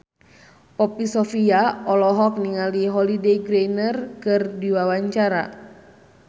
Poppy Sovia olohok ningali Holliday Grainger keur diwawancara